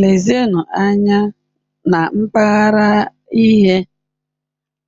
Lezienụ anya na mpaghara ihe